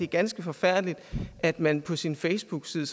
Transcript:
ganske forfærdeligt at man på sin ffacebookside